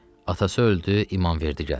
Atası öldü, İmamverdi gəldi.